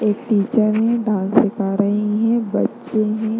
एक टीचर है डांस सिखा रही हैं बच्चे हैं।